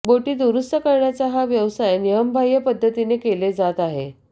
बोटी दुरुस्त करण्याचा या व्यवसाय नियमबाह्य पद्धतीने केले जात आहे